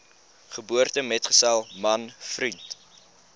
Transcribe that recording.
geboortemetgesel man vriend